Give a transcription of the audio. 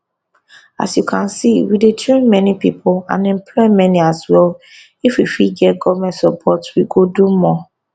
as you can see we dey train many pipo and employ many as well if we fit get goment support we go do more